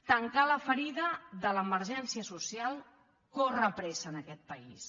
tancar la ferida de l’emergència social corre presa en aquest país